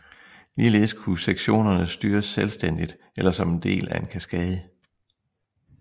Ligeledes kunne sektionerne styres selvstændigt eller som en del af en kaskade